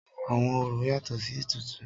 Àwọn orò yatọ̀ sí ètùtù.